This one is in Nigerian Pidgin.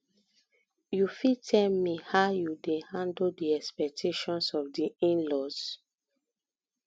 you fit tell me how you dey handle di expactations of di inlaws